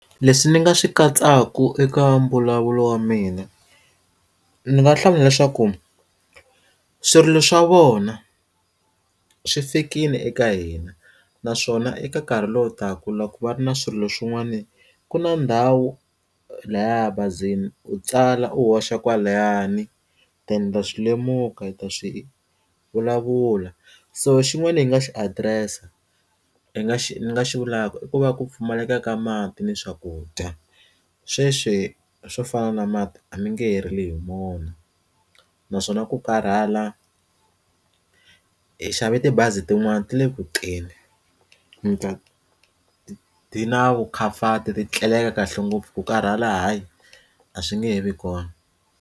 Leswi ni nga swi katsaka eka mbulavulo wa mina ni nga hlawula leswaku swirilo swa vona swi fikile eka hina naswona eka nkarhi lowu taka loko ku va ri na swirilo swin'wana ku na ndhawu laya ebazini u tsala u hoxa kwalayani swi lemuka ta swi vulavula so xin'wana ni nga xi adirese ya i nga xi nga xi vulaka i ku va ku pfumaleka ka mati ni swakudya sweswi swo fana na mati a mi nge herile hi mona naswona ku karhala hi xave tibazi tin'wani ti le kuteni mi ta ti na vu comfort ti tleleka kahle ngopfu ku karhala hayi a swi nge he vi kona.